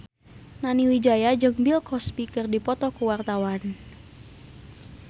Nani Wijaya jeung Bill Cosby keur dipoto ku wartawan